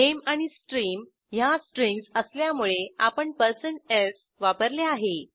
नामे आणि स्ट्रीम ह्या स्ट्रिंग्ज असल्यामुळे आपण s वापरले आहे